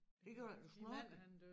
Det gjorde du ikke du snorklede